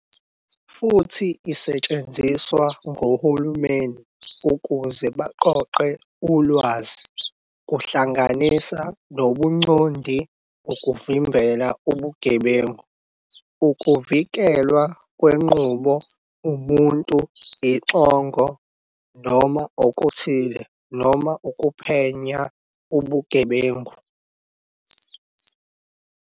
Futhi isetshenziswa ngohulumeni ukuze baqoqe ulwazi - kuhlanganisa nobuncondi, ukuvimbela ubugebengu, ukuvikelwa kwenqubo, umuntu, ixongo noma okuthile, noma ukuphenya ubugebengu.